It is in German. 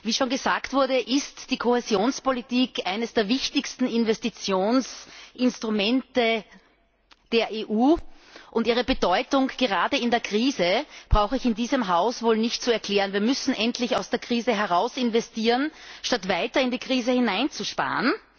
Wie schon gesagt wurde, ist die Kohäsionspolitik eines der wichtigsten Investitionsinstrumente der EU, und ihre Bedeutung gerade in der Krise brauche ich in diesem Haus wohl nicht zu erklären. Wir müssen endlich aus der Krise heraus investieren, statt weiter in die Krise hineinzusparen.